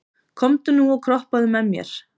Komdu nú og kroppaðu með mér